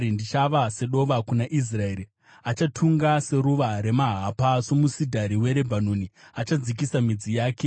Ndichava sedova kuna Israeri; achatunga seruva remahapa. Somusidhari weRebhanoni achadzikisa midzi yake;